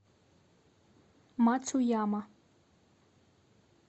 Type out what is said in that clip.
мацуяма